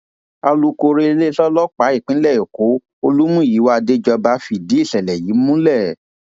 alūkkóró iléeṣẹ ọlọpàá ìpínlẹ èkó olùmúyíwá àdéjọba fìdí ìṣẹlẹ yìí múlẹ